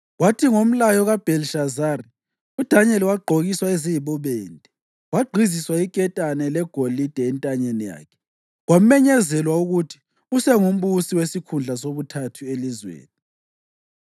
Kwathi ngomlayo kaBhelishazari uDanyeli wagqokiswa eziyibubende, wagqiziswa iketane legolide entanyeni yakhe, kwamenyezelwa ukuthi usengumbusi wesikhundla sobuthathu elizweni.